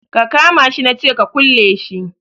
Ka kama shi na ce ka kulle min shi